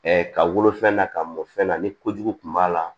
ka wolofɛn na ka mɔ fɛn na ni ko jugu kun b'a la